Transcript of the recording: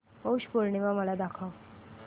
पौष पौर्णिमा मला दाखव